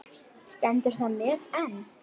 Stendur það met enn.